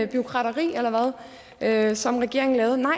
bureaukrateri eller hvad som regeringen lavede nej